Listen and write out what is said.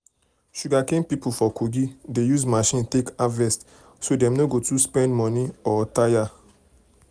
sugarcane people for kogi dey use machine take harvest so dem no go too spend money or tire.